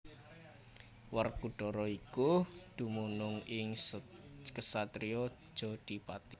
Werkudara iku dumunung ing ksatriyan Jodhipati